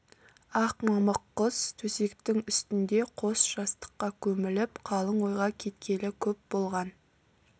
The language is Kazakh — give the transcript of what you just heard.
ақ мамық құс төсектің үстінде қос жастыққа көміліп қалың ойға кеткелі көп болған